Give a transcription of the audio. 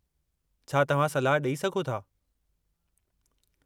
छा तव्हां सलाह ॾेई सघो था?